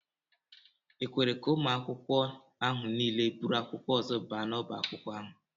E kwere ka ụmụ akwụkwọ ahụ niile buru akwụkwọ ọzọ baa n'ọbá akwụkwọ ahụ?